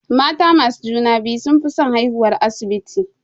Mata masu juna-biyu sunfi son haihuwar asibiti.